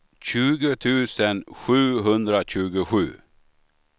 tjugo tusen sjuhundratjugosju